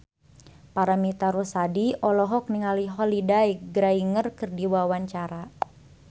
Paramitha Rusady olohok ningali Holliday Grainger keur diwawancara